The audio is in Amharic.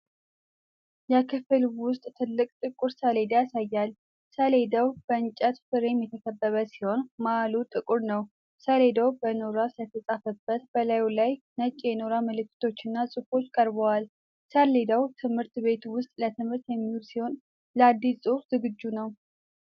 የክፍል ውስጥ ትልቅ ጥቁር ሰሌዳ ያሳያል። ሰሌዳው በእንጨት ፍሬም የተከበበ ሲሆን፤ መሃሉ ጥቁር ነው። ሰሌዳው በኖራ ስለተፃፈበት በላዩ ላይ ነጭ የኖራ ምልክቶችና ጽሁፎች ቀርተዋል። ሰሌዳው ትምህርት ቤት ውስጥ ለትምህርት የሚውል ሲሆን፤ ለአዲስ ጽሑፍ ዝግጁ ነው።